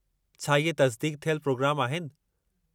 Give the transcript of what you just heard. छा इहे तसिदीक़ थियल प्रोग्राम आहिनि?